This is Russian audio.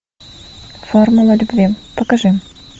формула любви покажи